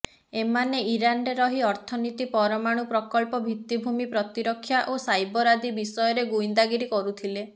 ଏମାନେ ଇରାନରେ ରହି ଅର୍ଥନୀତି ପରମାଣୁ ପ୍ରକଳ୍ପ ଭିତ୍ତିଭୂମି ପ୍ରତିରକ୍ଷା ଓ ସାଇବର୍ ଆଦି ବିଷୟରେ ଗୁଇନ୍ଦାଗିରି କରୁଥିଲେ